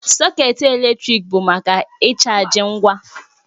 Sọkét eletrik bụ maka ịchaji ngwa